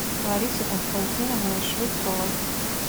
ларисой константиновной швецовой